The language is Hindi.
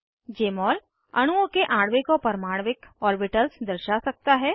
जमोल अणुओं के आणविक और परमाण्विक ऑर्बिटल्स दर्शा सकता है